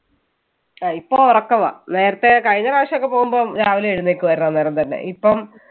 അഹ് ഇപ്പൊ ഉറക്കവാ നേരത്തെ കഴിഞ്ഞ പ്രാവശ്യം ഒക്കെ പോകുമ്പോൾ രാവിലെ എഴുന്നേൽക്കുമായിരുന്നു അന്നേരം തന്നെ. ഇപ്പം